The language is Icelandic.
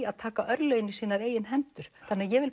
að taka örlögin í sínar eigin hendur ég vil